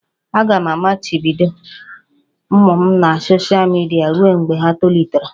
Aga m amachibido ụmụ m na soshal midia ruo mgbe ha tolitere